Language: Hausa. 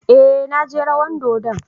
Eh, na je rawan dodon.